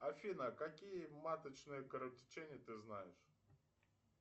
афина какие маточные кровотечения ты знаешь